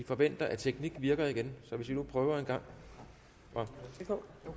forventer at teknikken virker igen så hvis vi nu prøver engang